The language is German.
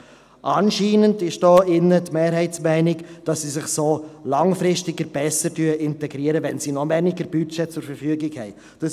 Anscheinend gilt hier im Saal die Mehrheitsmeinung, dass sich die Bedürftigen langfristig besser integrieren, wenn sie noch weniger Budget zur Verfügung haben.